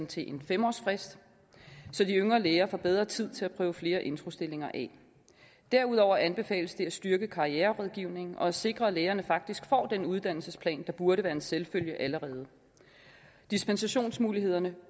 til en fem årsfrist så de yngre læger får bedre tid til at prøve flere introstillinger af derudover anbefales det at styrke karriererådgivningen og at sikre at lægerne faktisk får den uddannelsesplan der allerede burde være en selvfølge dispensationsmulighederne